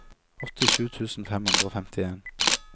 åttisju tusen fem hundre og femtien